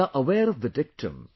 We are aware of the dictum